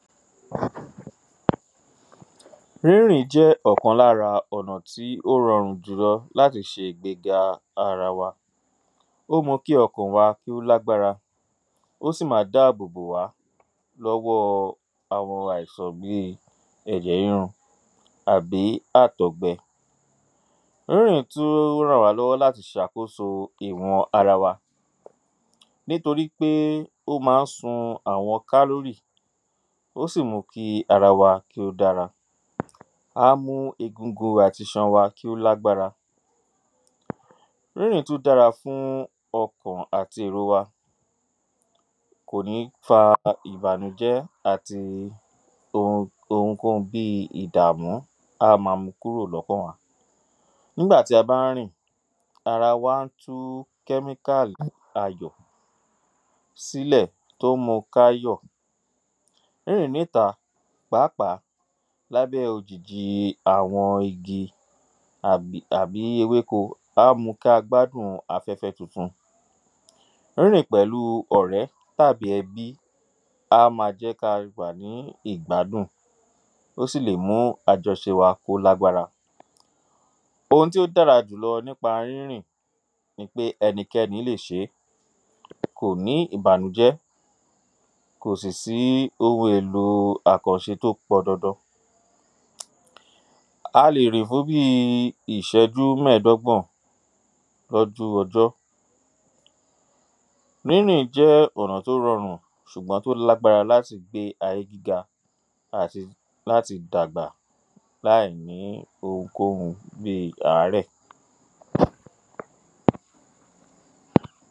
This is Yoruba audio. Rírìn jẹ́ ọ̀kan lára ọ̀nà tí ó rọrùn júlọ láti ṣe ìgbéga ara wa ó mọ kí ọkàn wa kó lágbára ó sì ma dáàbòbò wa lówọọ àwọn àìsàn bíi ẹ̀jẹ̀ írun àbí àtọ̀gbẹ rírìn tú rà wá lọ́wọ́ láti ṣàkóso ìwọ̀n ara wa nítorí pé ó má ń sun ̀awọn lálórì ó sì mú kí ara wa kí ó dára á mú egungun àti iṣan kí ó lágbára rírìn tú dára fún ọkàn àti èro wa kò ní fara hàn ìbànújẹ́ àti ohunkóhun bíi ìdàmú á ma mú kúrò lọ́kàn nígbà tí a bá ń rìn ara wa tú kẹ́míkálì ayọ̀ sílẹ̀ tó ń mu ká yọ̀ rírìn ní ta pàápàá lábẹ́ òjìji àwọn igi àbí ewéko á mu kí a gbádùn afẹ́fẹ́ tuntun rírìn pẹ̀lú ọ̀rẹ́ tàbí ẹbí á ma jẹ́ ka wà ní ìgbádùn ó sì lè mú àjọṣe wa kó lágbára ohun tí ó dára jùlọ nípa rírìn ni pé ẹnikẹ́ni lè ṣe e kò ní ìbànújẹ́ kò sì sí ohun èlò àkànṣe tó pọn dandan a lè rìn fún bíi ìṣéjú mẹ́ẹ̀dọ́gbọ̀n rọ́dú ọjọ́ jẹ́ ọ̀nà tó rọrùn ṣùgbọ́n tó lágbára láti gbé ayé gíga àti láti dàgbà láìní ohunkóhun bíi àárẹ̀